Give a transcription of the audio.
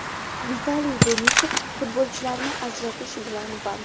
Vitaliy Denisov futbolchilarni ajratish bilan band .